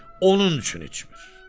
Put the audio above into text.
Onun üçün içmir.”